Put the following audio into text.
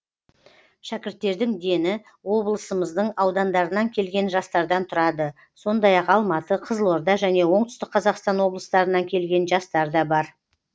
шәкірттердің дені облымыздың аудандарынан келген жастардан тұрады сондай ақ алматы қызылорда және оңтүстік қазақстан облыстарынан келген жастар да бар